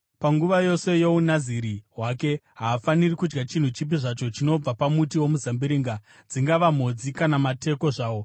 Panguva yose youNaziri hwake, haafaniri kudya chinhu chipi zvacho chinobva pamuti womuzambiringa, dzingava mhodzi kana mateko zvawo.